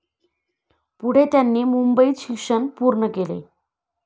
पुढे त्यांनी मुंबईत शिक्षण पूर्ण केले.